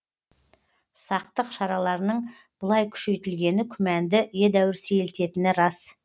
сақтық шараларының бұлай күшейтілгені күмәнді едәуір сейілтетіні рас